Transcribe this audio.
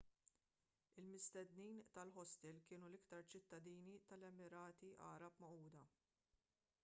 il-mistednin tal-ħostel kienu l-iktar ċittadini tal-emirati għarab magħquda